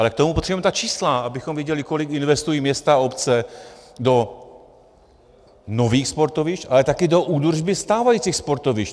Ale k tomu potřebujeme ta čísla, abychom věděli, kolik investují města a obce do nových sportovišť, ale také do údržby stávajících sportovišť.